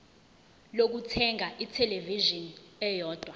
lokuthenga ithelevishini eyodwa